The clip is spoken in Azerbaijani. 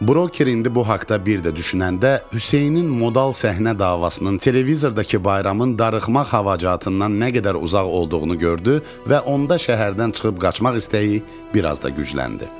Broker indi bu haqda bir də düşünəndə Hüseynin modal səhnə davasının televizordakı bayramın darıxmaq xacından nə qədər uzaq olduğunu gördü və onda şəhərdən çıxıb qaçmaq istəyi biraz da gücləndi.